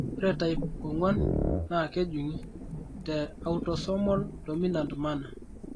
ore type 4 naa kejun'gi te autosomal dominant manner.